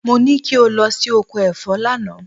Mo ní kí o lọ sí oko ẹ̀fọ́ lánàá.